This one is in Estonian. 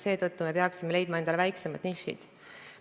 Seetõttu peaksime leidma endale väiksemad nišid.